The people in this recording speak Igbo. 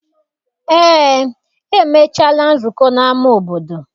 Eé, emechaala nzụko n'ama obodo.